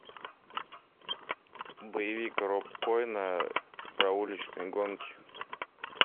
боевик роб коэна про уличные гонки